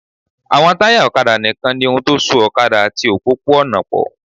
Àwọn táyà ọ̀kadà nìkan ni ohun tó so ọ̀kadà àti òpópó-ọ̀nà pọ̀